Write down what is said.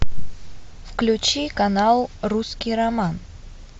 включи канал русский роман